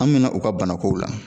An mɛna u ka bana kow la